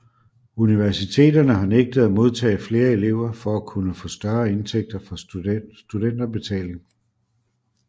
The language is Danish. Universiteterne har nægtet at modtage flere elever for at kunne få større indtægter fra studentbetalingerne